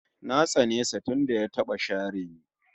Na tsane sa tunda ya taba share ni